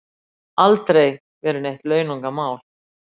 Aldrei verið neitt launungarmál